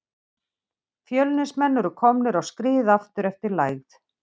Fjölnismenn eru komnir á skrið aftur eftir lægð.